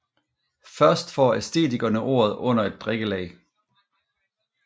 Først får æstetikerne ordet under et drikkelag